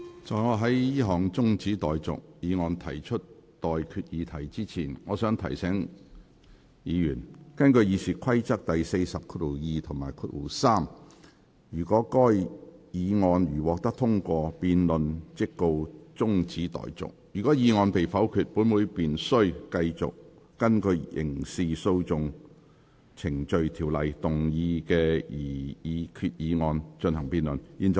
在我就這項中止待續議案提出待決議題之前，我想提醒議員，根據《議事規則》第402及3條，該議案如獲得通過，辯論即告中止待續；如議案被否決，本會便須繼續就根據《刑事訴訟程序條例》動議的擬議決議案進行辯論。